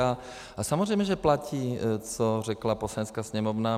A samozřejmě že platí, co řekla Poslanecká sněmovna.